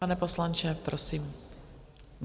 Pane poslanče, prosím.